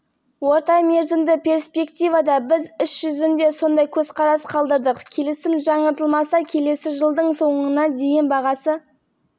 біршама төмендеп барреліне долларға дейін жетеді деп есептейміз деді орталық банк төрағасы эльвира набиуллина қыркүйек